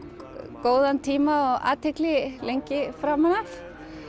góðan tíma og athygli lengi framan af